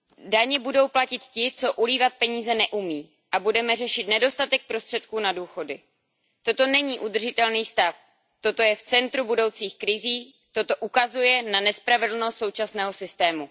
Daně budou platit ti, kteří ulívat peníze neumí, a budeme řešit nedostatek prostředků na důchody. Toto není udržitelný stav, toto je v centru budoucích krizí, toto ukazuje na nespravedlnost současného systému.